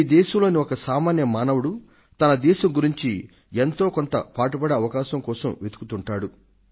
ఈ దేశంలోని ఒక సామాన్య మానవుడు తన దేశం గురించి ఎంతో కొంత పాటుపడే అవకాశం కోసం వెతుకుతుంటాడు